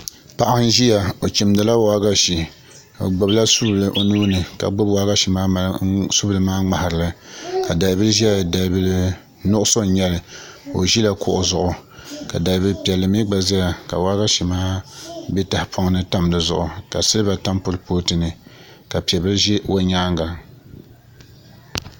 Paɣa n ʒiya o chimdila waagashe o gbubila su bili o nuuni ka gbubi waagashe maa mali subili maa ŋmaharili ka dalbili ʒɛya dalbili nuɣso n nyɛli ka o ʒila kuɣu zuɣu ka dalbili piɛlli mii gba ʒɛya ka waagashe maa bɛ tahapoŋ ni tam di zuɣu ka silba tam kuripooti ni ka piɛ bili ʒi o nyaanŋa